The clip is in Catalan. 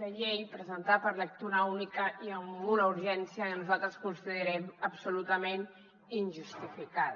de llei presentada per lectura única i amb una urgència que nosaltres considerem absolutament injustificada